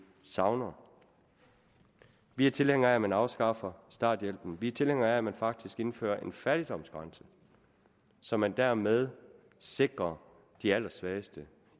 savner vi er tilhængere af at man afskaffer starthjælpen vi er tilhængere af at man faktisk indfører en fattigdomsgrænse så man dermed sikrer de allersvageste